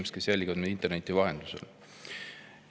Head inimesed, kes jälgivad meid interneti vahendusel!